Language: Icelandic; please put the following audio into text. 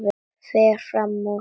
Fer fram úr.